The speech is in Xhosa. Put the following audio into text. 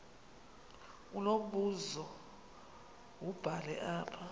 unombuzo wubhale apha